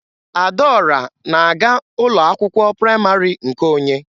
Adaọra na-aga ụlọ akwụkwọ praịmarị nke onye.